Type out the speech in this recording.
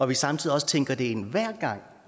vi samtidig også tænker det ind hver gang